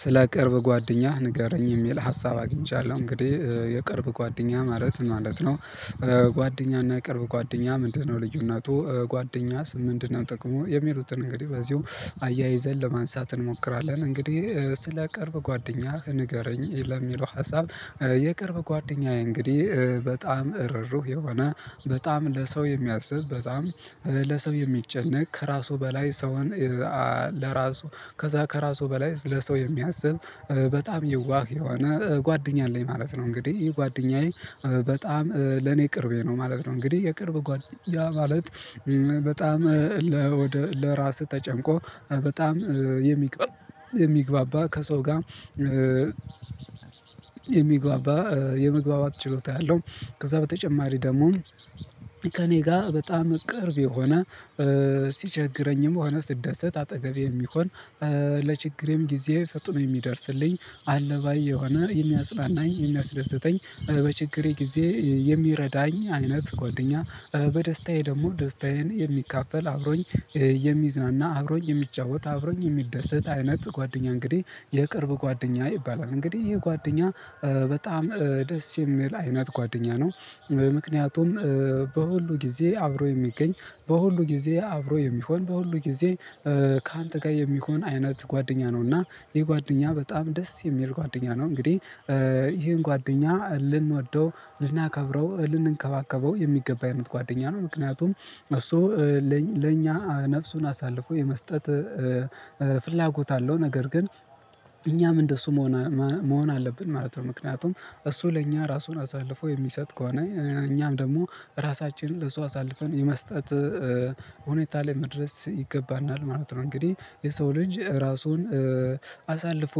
ስለ ቅርብ ጓደኛህ ንገረኝ የሚል ሀሳብ አግኝቻለሁ እንግዲህ የቅርብ ጓደኛ ማለት ምን ማለት ነው? ጓደኛና ቅርብ ጓደኛ ምንድነው ልዩነቱ ጓደኛስ ምንድነው? ጥቅሙ የሚሉትን እንግዲህ በዚሁ አያይዘን ለማንሳት እንሞክራለን እንግዲህ ስለ ቅርብ ጓደኛ ከንገረኝ ለሚለው ሀሳብ የቅርብ ጓደኛዬ እንግዲህ በጣም እሩህሩህ የሆነ በጣም ለሰው የሚያስብ በጣም ለሰው የሚጨነቅ ከራሱ በላይ ሰውን ለራሱ ከዛ ከራሱ በላይ ለሰው የሚያስብ በጣም የዋህ የሆነ ጓደኛ አለኝ ማለት ነው። እንግዲህ ይሄ ጓደኛዬ በጣም ለኔ ቅርቤ ነው ማለት ነው። እንግዲህ የቅርብ ጓደኛ ማለት በጣም ለራሱ ተጨንቆ በጣም የሚግባባ ከሰው ጋር የሚግባባ የመግባባት ችሎታ ያለው ከዛ በተጨማሪ ደግሞ ከእኔ ጋር በጣም ቅርብ የሆነ ሲቸግረኝም ሆነ ስደሰት አጠገቤ የሚሆን ለችግሬም ጊዜ ፈጥኖ የሚደርስልኝ አለባይ የሆነ የሚያጽናናኝ የሚያስደስተኝ በችግሬ ጊዜ የሚረዳኝ አይነት ጓደኛ በደስታዬ ደግሞ ደስታዬን የሚካፈል አብሮኝ የሚዝናና አብሮኝ የሚጫወት አብሮኝ የሚደሰት አይነት ጓደኛ እንግዲህ የቅርብ ጓደኛ ይባላል። እንግዲህ ይሄ ጓደኛ በጣም ደስ የሚል አይነት ጓደኛ ነው። ምክንያቱም በሁሉ ጊዜ አብሮ የሚገኝ በሁሉ ጊዜ አብሮ የሚሆን በሁሉ ጊዜ ካንተ ጋር የሚሆን አይነት ጓደኛ ነው እና ይህ ጓደኛ በጣም ደስ የሚል ጓደኛ ነው። እንግዲህ ይሄን ጓደኛ ልንወደው ልናከብረው ልንከባከበው የሚገባ አይነት ጓደኛ ነው። ምክንያቱም እሱ ለኛ ነፍሱን አሳልፎ የመስጠት ፍላጎት አለው ነገር ግን እኛም እንደሱ መሆን መሆን አለብን ማለት ነው። ምክንያቱም እሱ ለእኛ ራሱን አሳልፎ የሚሰጥ ከሆነ እኛም ደግሞ ራሳችንን ለሱ አሳልፈን የመስጠት ሁኔታ ላይ መድረስ ይገባናል ማለት ነው። እንግዲህ የሰው ልጅ ራሱን አሳልፎ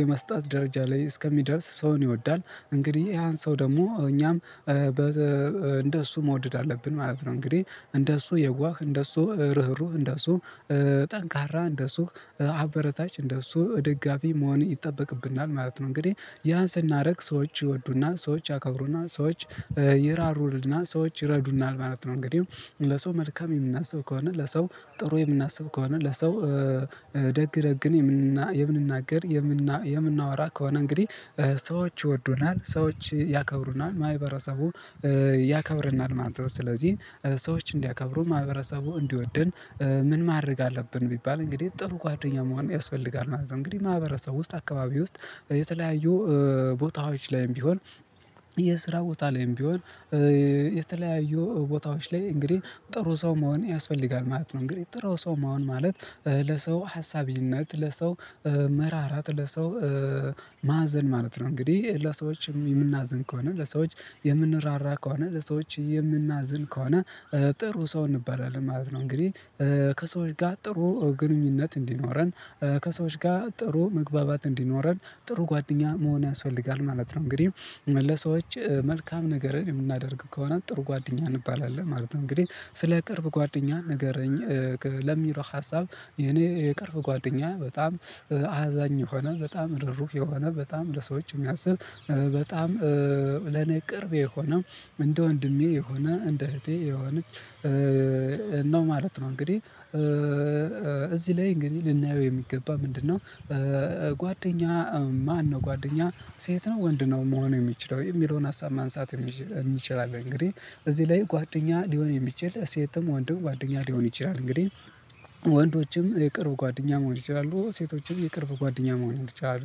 የመስጠት ደረጃ ላይ እስከሚደርስ ሰውን ይወዳል እንግዲህ ያን ሰው ደግሞ እኛም እንደ እሱ መውደድ አለብን ማለት ነው። እንግዲህ እንደሱ የዋህ እንደሱ ርህሩህ እንደሱ ጠንካራ እንደሱ አበረታች እንደሱ ደጋፊ መሆን ይጠበቅብናል ማለት ነው። እንግዲህ ያን ስናደርግ ሰዎች ይወዱና ሰዎች ያከብሩና ሰዎች ይራሩልና ሰዎች ይረዱና ማለት ነው። እንግዲህ ለሰው መልካም የምናስብ ከሆነ ለሰው ጥሩ የምናስብ ከሆነ ለሰው ደግ ደግን የምንናገር የምናወራ ከሆነ እንግዲህ ሰዎች ይወዱናል ሰዎች ያከብሩናል ማህበረሰቡ ያከብረናል። ማለት ስለዚህ ሰዎች እንዲያከብሩን ማህበረሰቡ እንዲወደን ምን ማድረግ አለብን ቢባል እንግዲህ ጥሩ ጓደኛ መሆን ያስፈልጋል። ማለት እንግዲህ ማህበረሰብ ውስጥ አካባቢ ውስጥ የተለያዩ ቦታዎች ላይም ቢሆን የስራ ቦታ ላይም ቢሆን የተለያዩ ቦታዎች ላይ እንግዲህ ጥሩ ሰው መሆን ያስፈልጋል ማለት ነው። እንግዲህ ጥሩ ሰው መሆን ማለት ለሰው ሀሳቢነት ለሰው መራራት ለሰው ማዕዘን ማለት ነው። እንግዲህ ለሰዎች የምናዝን ከሆነ ለሰዎች የምንራራ ከሆነ ለሰዎች የምናዝን ከሆነ ጥሩ ሰው እንባላለን ማለት ነው። እንግዲህ ከሰዎች ጋር ጥሩ ግንኙነት እንዲኖረን ከሰዎች ጋር ጥሩ መግባባት እንዲኖረን ጥሩ ጓደኛ መሆን ያስፈልጋል ማለት ነው። እንግዲህ ለሰዎች መልካም ነገርን የምናደርግ ከሆነ ጥሩ ጓደኛ እንባላለን ማለት ነው። እንግዲህ ስለ ቅርብ ጓደኛ ንገረኝ ለሚለው ሀሳብ የኔ የቅርብ ጓደኛ በጣም አዛኝ የሆነ በጣም ርህሩህ የሆነ በጣም ለሰዎች የሚያስብ በጣም ለኔ ቅርቤ የሆነ እንደ ወንድሜ የሆነ እንደ እህቴ የሆነች ነው ማለት ነው። እንግዲህ እዚህ ላይ እንግዲህ ልናየው የሚገባ ምንድነው? ጓደኛ ማነው ጓደኛ ሴት ነው ወንድ ነው መሆኑ የሚችለው የሚለውን ሀሳብ ማንሳት የሚችል አለ እንግዲህ እዚህ ላይ ጓደኛ ሊሆን የሚችል ሴትም ወንድም ጓደኛ ሊሆን ይችላል። እንግዲህ ወንዶችም የቅርብ ጓደኛ መሆን ይችላሉ ሴቶችም የቅርብ ጓደኛ መሆን ይችላሉ።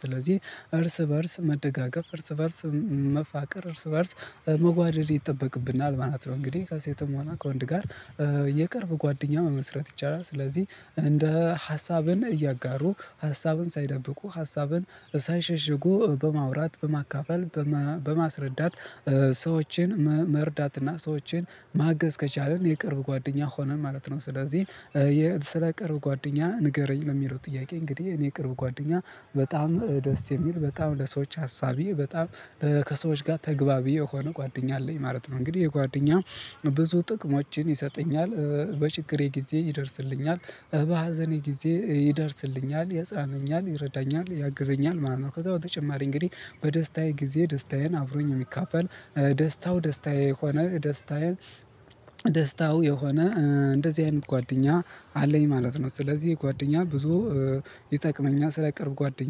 ስለዚህ እርስ በእርስ መደጋገፍ እርስ በእርስ መፋቀር እርስ በእርስ መዋደድ ይጠበቅብናል ማለት ነው። እንግዲህ ከሴትም ሆና ከወንድ ጋር የቅርብ ጓደኛ መመስረት ይቻላል። ስለዚህ እንደ ሀሳብን እያጋሩ ሀሳብን ሳይደብቁ ሀሳብን ሳይሸሽጉ በማውራት በማካፈል በማስረዳት ሰዎችን መርዳትና ሰዎችን ማገዝ ከቻልን የቅርብ ጓደኛ ሆነን ማለት ነው። ስለዚህ የስለ ቅርብ ጓደኛ ንገረኝ ነው የሚለው ጥያቄ እንግዲህ እኔ ቅርብ ጓደኛ በጣም ደስ የሚል በጣም ለሰዎች ሀሳብ በጣም ከሰዎች ጋር ተግባቢ የሆነ ጓደኛ አለኝ ማለት ነው። እንግዲህ የጓደኛ ብዙ ጥቅሞችን ይሰጠኛል በችግሬ ጊዜ ይደርስልኛል በሀዘኔ ጊዜ ይደርስልኛል ይፅናናኛል ይረዳኛል ያግዘኛል ማለት ነው። ከዛ በተጨማሪ እንግዲህ በደስታዬ ጊዜ ደስታዬን አብሮኝ የሚከፍል ደስታው ደስታዬ የሆነ ደስታዬን ደስታው የሆነ እንደዚህ አይነት ጓደኛ አለኝ ማለት ነው። ስለዚህ የጓደኛ ብዙ ይጠቅመኛል ስለቀረብ ጓደኛ